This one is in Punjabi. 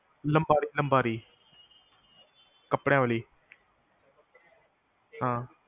ਅਲਮਾਰੀ ਅਲਮਾਰੀ ਕਪੜਿਆ ਵਾਲੀ